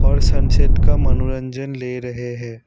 और सनसेट का मनोरंजन ले रहे हैं।